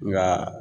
Nka